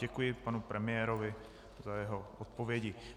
Děkuji panu premiérovi za jeho odpovědi.